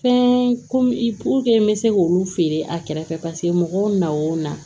Fɛn ko i n bɛ se k'olu feere a kɛrɛfɛ paseke mɔgɔw na o na